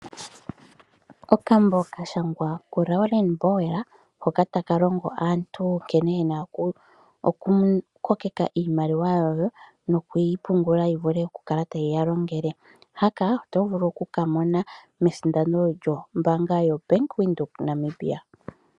Okambo kashangwa ku Lauren's bowl hoka taka longo aantu nkene yena oku kokeka iimaliwa yawo noku yipungula yi vule okukala tayi ya longele. Okambo haka otovulu oku kamona mesindano lyombaanga yo Bank Windhoek Namibia.